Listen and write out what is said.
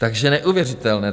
Takže neuvěřitelné.